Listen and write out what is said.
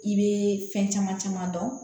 I bɛ fɛn caman caman dɔn